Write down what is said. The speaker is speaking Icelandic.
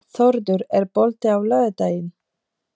Þórður, er bolti á laugardaginn?